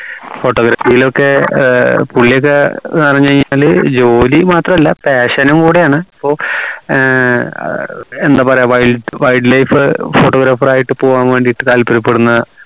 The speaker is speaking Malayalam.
photography ലൊക്കെ ഏർ പുള്ളിയൊക്കെ ന്ന് പറഞ്ഞ് കഴിഞ്ഞാൽ ജോലി മാത്രല്ല passion നും കൂടിയാണ് അപ്പോ ഏർ എന്താ പറയാ wild wildlife photographer ആയിട്ട് പോവാൻ വേണ്ടി താല്പര്യപ്പെടുന്ന